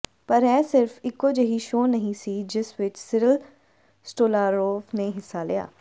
ਪਰ ਇਹ ਸਿਰਫ ਇਕੋ ਜਿਹੀ ਸ਼ੋਅ ਨਹੀਂ ਸੀ ਜਿਸ ਵਿਚ ਸਿਰਲ ਸਟੋਲਾਰੋਵ ਨੇ ਹਿੱਸਾ ਲਿਆ